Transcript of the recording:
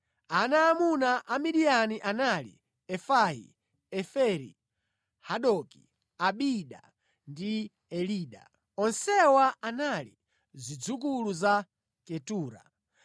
Ana aamuna a Midiyani anali, Efai, Eferi, Hanoki, Abida ndi Elida. Onsewa anali zidzukulu za Ketura.